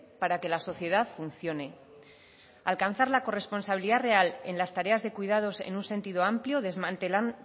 para que la sociedad funcione alcanzar la corresponsabilidad real en las tareas de cuidados en un sentido amplio